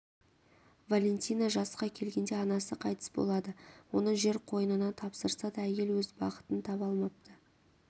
валентина жасқа келгенде анасы қайтыс болады оны жер қойнына тапсырса да әйел өз бақытын таба алмапты